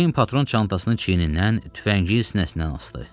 Ceyn patron çantasını çiynindən, tüfəngi isə sinəsindən asdı.